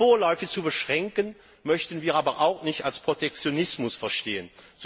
Ihre vorläufige Beschränkung möchten wir aber auch nicht als Protektionismus verstehen.